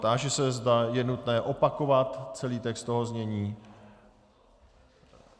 Táži se, zda je nutné opakovat celý text toho znění.